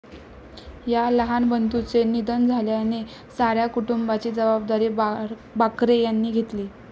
या लहान बंधुचे निधन झाल्याने साऱ्या कुटुंबाची जबाबदारी बाकरे यांनी घेतली.